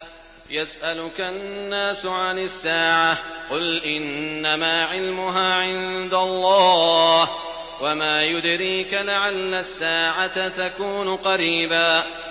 يَسْأَلُكَ النَّاسُ عَنِ السَّاعَةِ ۖ قُلْ إِنَّمَا عِلْمُهَا عِندَ اللَّهِ ۚ وَمَا يُدْرِيكَ لَعَلَّ السَّاعَةَ تَكُونُ قَرِيبًا